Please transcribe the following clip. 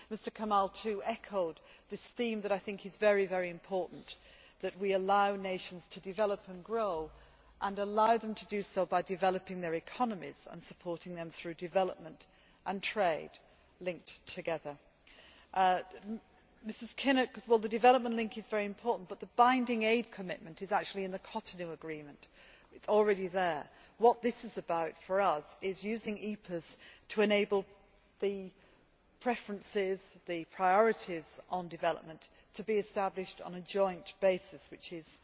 Mr Kamall, too, echoed this theme that I think is very important, that we allow nations to develop and grow and allow them to do so by developing their economies and supporting them through development and trade linked together. Mrs Kinnock, the development link is very important, but the binding aid commitment is in the Cotonou Agreement it is already there. What this is about, for us, is using EPAs to enable the preferences, the priorities on development to be established on a joint basis,